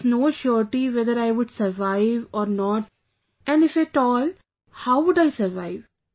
There was no surety whether I would survive or not and if at all, how would I survive